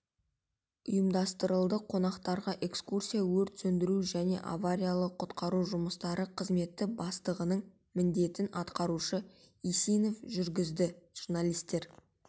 ұйымдастырылды қонақтарға экскурсияны өрт сөндіру және авариялық-құтқару жұмыстары қызметі бастығының міндетін атқарушы исинов жүргізді журналистер